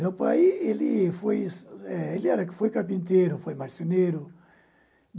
Meu pai, ele foi eh ele era ele foi carpinteiro, foi marceneiro.